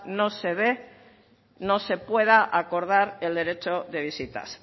no se dé no se pueda acordar el derecho de visitas